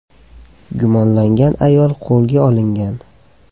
Gumonlangan ayol qo‘lga olingan.